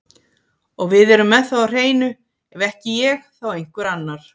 Og við erum með það á hreinu, ef ekki ég þá einhver annar.